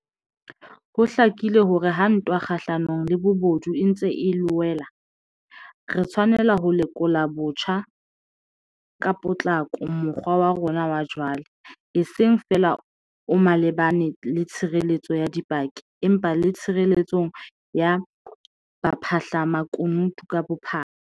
Ho hlakile hore ha ntwa kgahlanong le bobodu e ntse e loela, re tshwanela ho lekola botjha ka potlako mokgwa wa rona wa jwale, e seng feela o malebana le tshireletso ya dipaki, empa le tshireletsong ya baphahlamakunutu ka bophara.